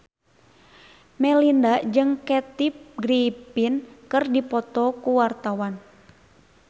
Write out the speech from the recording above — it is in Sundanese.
Melinda jeung Kathy Griffin keur dipoto ku wartawan